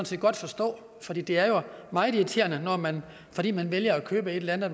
set godt forstå for det det er jo meget irriterende at man fordi man vælger at købe et eller andet